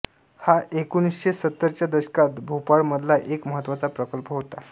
हा एकोणीसशे सत्तरच्या दशकात भोपाळमधला एक महत्त्वाचा प्रकल्प होता